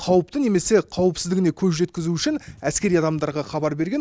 қауіпті немесе қауіпсіздігіне көз жеткізу үшін әскери адамдарға хабар берген